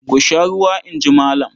"Ku sha ruwa!" In ji Malam.